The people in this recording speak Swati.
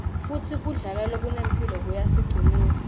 futsi kudla lokunemphilo kuyasicinsa